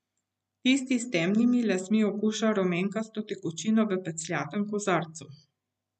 Tisti s temnimi lasmi okuša rumenkasto tekočino v pecljatem kozarcu.